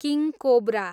king cobra